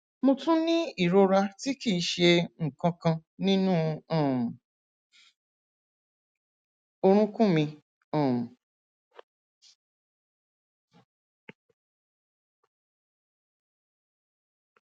mo tún ní ìrora tí kì í ṣe nǹkan kan nínú um orúnkún mi um